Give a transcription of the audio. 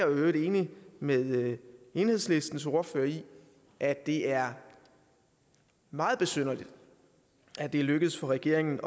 øvrigt enig med enhedslistens ordfører i at det er meget besynderligt at det er lykkedes for regeringen